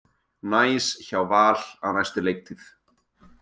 Næs hjá Val á næstu leiktíð